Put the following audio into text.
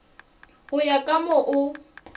go ya ka moo o